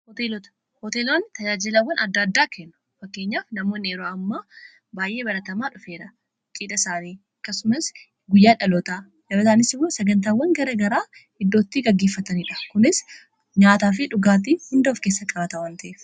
Hoteelonni tajaajilawwan adda addaa kennu fakkeenyaaf namoonni yeroo amma baay'ee baratamaa dhufeera cidha isaanii akkasumas guyyaa dhaloota sagantaawwan gara garaa iddootti gaggiiffataniidha kunis nyaataa fi dhugaatti hunda of keessa qabata.